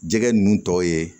Jɛgɛ ninnu tɔw ye